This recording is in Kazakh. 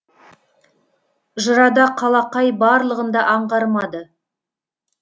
жырада қалақай барлығын да аңғармады